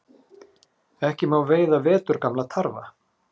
Ekki má veiða veturgamla tarfa